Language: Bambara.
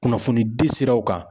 Kunnafonidi siraw kan.